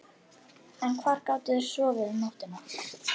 En hvar gátu þeir sofið um nóttina?